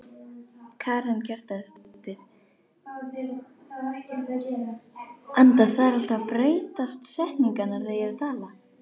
Gönguferðir í skóginum, ljúfur tími, fallandi lauf án undirleiks.